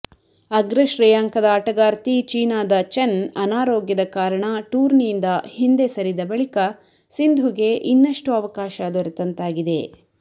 ಅಗ್ರ ಶ್ರೇಯಾಂಕದ ಆಟಗಾರ್ತಿ ಚೀನಾದ ಚೆನ್ ಅನಾರೋಗ್ಯದ ಕಾರಣ ಟೂರ್ನಿಯಿಂದ ಹಿಂದೆ ಸರಿದ ಬಳಿಕ ಸಿಂಧುಗೆ ಇನ್ನಷ್ಟು ಅವಕಾಶ ದೊರೆತಂತಾಗಿದೆ